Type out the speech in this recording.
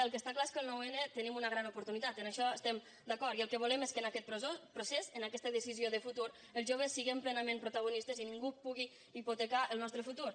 el que està clar és que el noun tenim una gran oportunitat en això estem d’acord i el que volem és que en aquest procés en aquesta decisió de futur els joves siguem plenament protagonistes i ningú pugui hipotecar el nostre futur